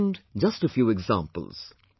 I have mentioned just a few examples